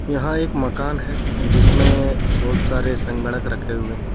यहां एक मकान है जिसमें बहुत सारे संगणक रखे हुए हैं.